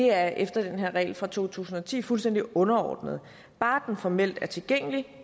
er efter den her regel fra to tusind og ti fuldstændig underordnet bare den formelt er tilgængelig